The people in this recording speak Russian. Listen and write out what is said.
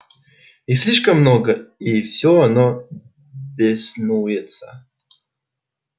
их слишком много и всё оно беснуется